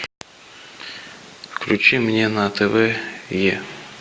включи мне на тв е